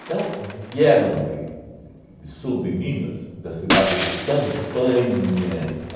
Então, vieram de de do sul de Minas, da cidade de Campanha.